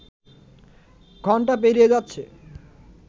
ঘন্টা পেরিয়ে যাচ্ছে